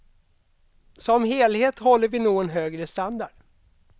Som helhet håller vi nog en högre standard.